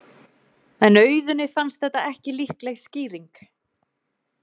En Auðuni fannst þetta ekki líkleg skýring.